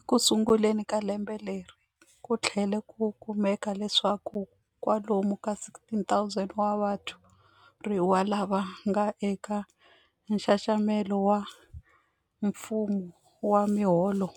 Ekusunguleni ka lembe leri, ku tlhele ku kumeka leswaku kwalomu ka 16,000 wa vathoriwa lava nga eka nxaxamelo wa mfumo wa miholo